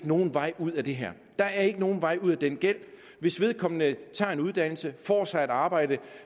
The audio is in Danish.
nogen vej ud af det her der er ikke nogen vej ud af den gæld hvis vedkommende tager en uddannelse får sig et arbejde